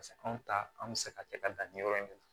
Paseke anw ta anw bɛ se ka kɛ ka dan ni yɔrɔ in na